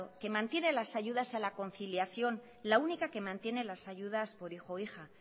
que mantiene las ayudas a la conciliación la única que mantiene las ayudas por hijo o hija